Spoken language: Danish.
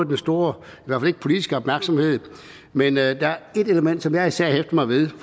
den store politiske opmærksomhed men der er ét element som jeg især hæfter mig ved